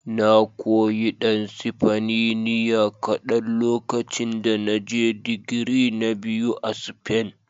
Na koyi ɗan Sifaniniya kaɗan lokacin da na je digiri na biyu a Spain.